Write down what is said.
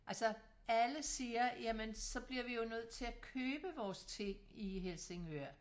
Altså alle siger jamen så bliver vi jo nødt til at købe vores ting i Helsingør